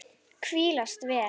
Hvílast vel.